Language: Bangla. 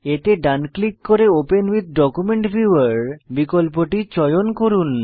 এতে ডান ক্লিক করে ওপেন উইথ ডকুমেন্ট ভিউয়ার বিকল্পটি চয়ন করুন